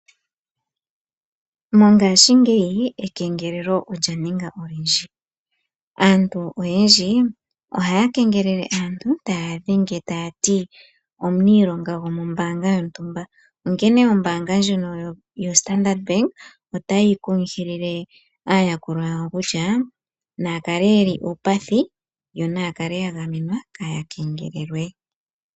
Mongashingeyi ekengelelo olyaninga olyindji. Aantu oyendji ohaya kengelele aantu taya dhenge tayati, omuniilonga gomombaanga yontumba. Onkene ombaanga ndjino yopamuthika otayi kunkilile aayakulwa yawo kutya, nayakale yeli uupathi yo naya kale yagamenwa kaya kengelelwe.